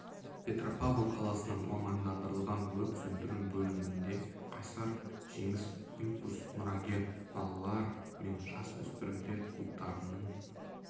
петропавл қаласының мамандандырылған өрт сөндіру бөлімінде қайсар жеңіс импульс мұрагер балалар мен жас өспірімдер клубтарының